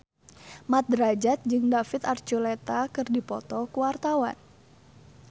Mat Drajat jeung David Archuletta keur dipoto ku wartawan